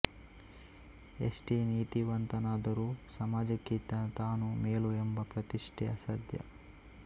ಎಷ್ಟೇ ನೀತಿವಂತನಾದರೂ ಸಮಾಜಕ್ಕಿಂತ ತಾನು ಮೇಲು ಎಂಬ ಪ್ರತಿಷ್ಠೆ ಅಸಾಧ್ಯ